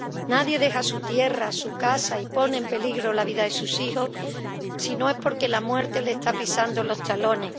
Nadie deja su tierra, su casa y pone en peligro la vida de sus hijos, si no es porque la muerte le está pisando los talones.